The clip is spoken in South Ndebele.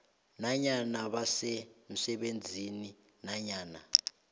nanyana basemsebenzini nanyana